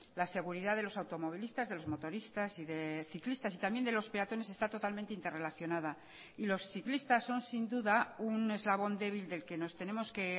la seguridad de los automovilistas de los motoristas y de ciclistas y también de los peatones está totalmente interrelacionada y los ciclistas son sin duda un eslabón débil del que nos tenemos que